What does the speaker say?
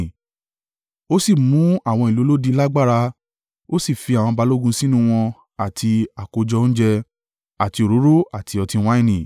Ó sì mú àwọn ìlú olódi lágbára, ó sì fi àwọn balógun sínú wọn àti àkójọ oúnjẹ, àti òróró àti ọtí wáìnì.